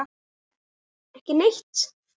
María: Ekki neitt.